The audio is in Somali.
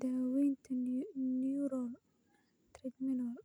daawaynta neuralgia trigeminal.